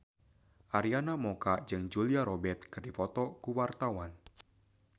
Arina Mocca jeung Julia Robert keur dipoto ku wartawan